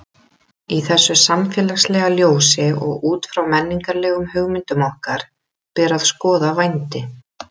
Í þessu samfélagslega ljósi og út frá menningarlegum hugmyndum okkar ber að skoða vændi.